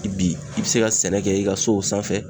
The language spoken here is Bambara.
Bi i bɛ se ka sɛnɛ kɛ i ka sow sanfɛ.